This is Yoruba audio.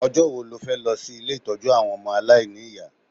Ọjọ́ wo lo fẹ́ lọ sí ilé ìtọ́jú àwọn ọmọ aláìní ìyá?